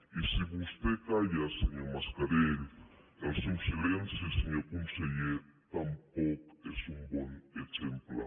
i si vostè calla senyor mascarell el seu silenci senyor conseller tampoc és un bon exemple